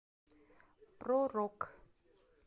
про рок